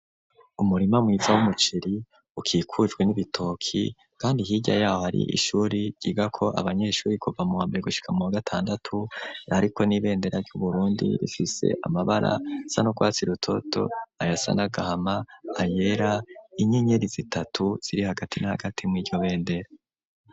Umurima mwiza w'umuceri ukikujwe n'ibitoki kandi hirya yaho ari ishuri ryiga ko abanyeshuri kuva muwambere gushika mu gatandatu ariko n'ibendera ry'uburundi bifise amabara asa nukwatsi rutoto ayasa nagahama ayera inyenyeri zitatu ziri hagati na hagati mu'iryo bendera.